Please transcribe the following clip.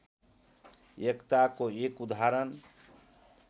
एकताको एक उदाहरण